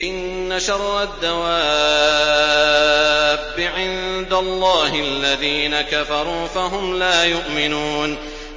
إِنَّ شَرَّ الدَّوَابِّ عِندَ اللَّهِ الَّذِينَ كَفَرُوا فَهُمْ لَا يُؤْمِنُونَ